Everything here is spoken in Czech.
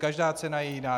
Každá cena je jiná.